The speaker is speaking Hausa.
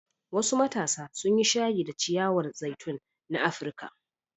Wasu matasa sun yi shayi da ciyawar zaitun na Afirka.